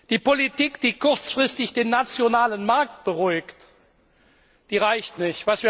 Die Politik, die kurzfristig den nationalen Markt beruhigt, die reicht nicht.